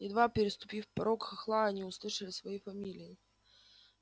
едва переступив порог хохла они услышали свои фамилии